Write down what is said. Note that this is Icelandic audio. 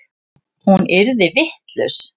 Hún yrði vitlaus.